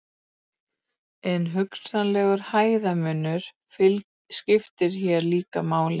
en hugsanlegur hæðarmunur skiptir hér líka máli